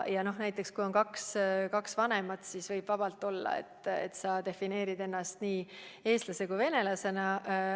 Kui sul on kaks vanemat, siis võib vabalt olla, et sa pead ennast nii eestlaseks kui ka venelaseks.